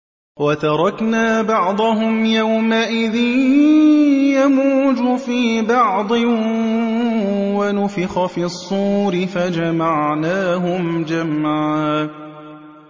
۞ وَتَرَكْنَا بَعْضَهُمْ يَوْمَئِذٍ يَمُوجُ فِي بَعْضٍ ۖ وَنُفِخَ فِي الصُّورِ فَجَمَعْنَاهُمْ جَمْعًا